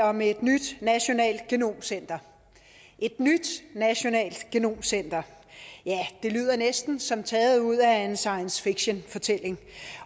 om et nyt nationalt genomcenter et nyt nationalt genomcenter ja det lyder næsten som taget ud af en science fiction fortælling